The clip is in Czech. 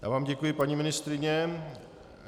Já vám děkuji, paní ministryně.